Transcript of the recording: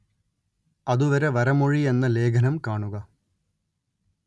അതുവരെ വരമൊഴി എന്ന ലേഖനം കാണുക